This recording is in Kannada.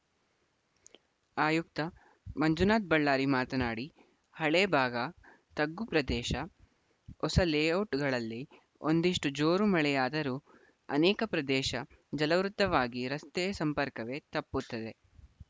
ಆಯುಕ್ತ ಮಂಜುನಾಥ ಬಳ್ಳಾರಿ ಮಾತನಾಡಿ ಹಳೆ ಭಾಗ ತಗ್ಗು ಪ್ರದೇಶ ಹೊಸ ಲೇಔಟ್‌ಗಳಲ್ಲಿ ಒಂದಿಷ್ಟು ಜೋರು ಮಳೆಯಾದರೂ ಅನೇಕ ಪ್ರದೇಶ ಜಲಾವೃತವಾಗಿ ರಸ್ತೆ ಸಂಪರ್ಕವೇ ತಪ್ಪುತ್ತದೆ